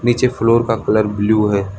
नीचे फ्लोर का colour blue है।